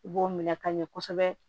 I b'o minɛ ka ɲɛ kosɛbɛ